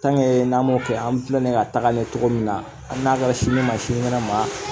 n'an m'o kɛ an filɛ ni ye ka taga ɲɛ cogo min na hali n'a kɛra sini ma sini kɛnɛ ma